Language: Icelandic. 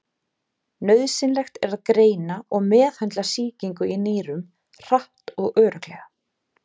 Nauðsynlegt er að greina og meðhöndla sýkingu í nýrum hratt og örugglega.